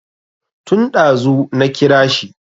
Tun ɗazu na kira shi